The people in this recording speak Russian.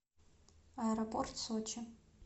аэропорт сочи